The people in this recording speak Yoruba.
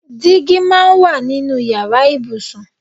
Dígí máa ń wà nínú ìyára ibùsùn.